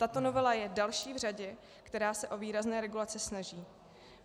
Tato novela je další v řadě, která se o výrazné regulace snaží.